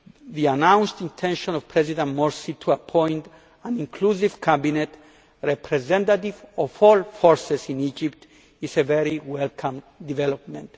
the announced intention of President Morsi to appoint an inclusive cabinet representative of all forces in Egypt is a very welcome development.